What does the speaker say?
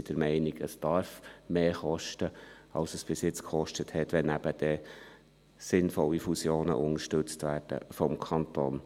Wir sind der Meinung, es dürfe mehr kosten, als es bisher gekostet hat, wenn dann eben sinnvolle Fusionen vom Kanton unterstützt werden.